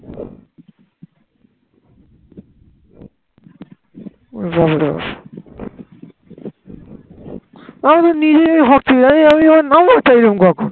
আমি নিজেই ভাবছি আমি নাম্বার চাইলাম কখন